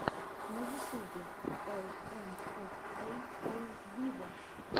на ютубе эл эм эф эй оу виво